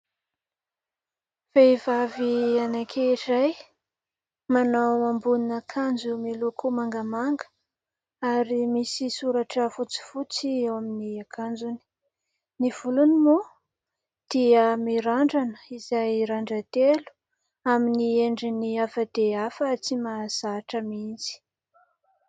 Vehivavy anakiray manao ambonin'akanjo miloko mangamanga ary misy soratra fotsy fotsy eo amin'ny akanjony. Ny volony moa dia mirandrana izay randran-telo amin'ny endriny hafa dia hafa tsy mahazahatra mihitsy.